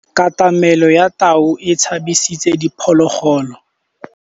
Katamêlô ya tau e tshabisitse diphôlôgôlô.